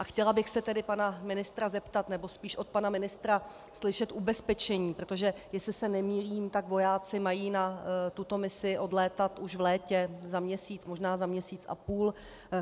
A chtěla bych se tedy pana ministra zeptat, nebo spíš od pana ministra slyšet ubezpečení - protože jestli se nemýlím, tak vojáci mají na tuto misi odlétat již v létě, za měsíc, možná za měsíc a půl.